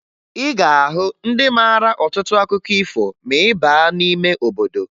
Ị ga-ahụ ndị mara ọtụtụ akụkọ ifo ma ị baa n'ime obodo